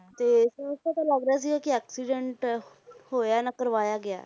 ਤੇ ਸਾਫ਼ ਪਤਾ ਲੱਗ ਰਿਹਾ ਸੀਗਾ ਕਿ accident ਹੋਇਆ ਨਾ ਕਰਵਾਇਆ ਗਿਆ।